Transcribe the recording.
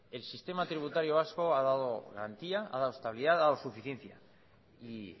el sistema tributario vasco ha dado garantía ha dado estabilidad ha dado suficiencia y